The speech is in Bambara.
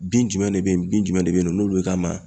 Bin jumɛn de be yen bin jumɛn de be yen nɔ n'olu bɛ k'a ma